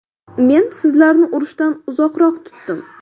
Men sizlarni urushdan uzoqroq tutdim.